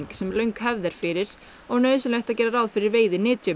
sem löng hefð er fyrir og nauðsynlegt að gera ráð fyrir